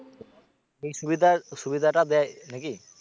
এই সুবিধা সুবিধাটা দেয় নাকি?